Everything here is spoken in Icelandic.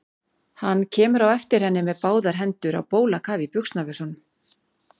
Hann kemur á eftir henni með báðar hendur á bólakafi í buxnavösunum.